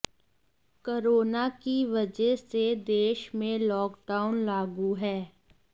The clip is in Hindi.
कोरोना की वजह से देश में लॉकडाउन लागू है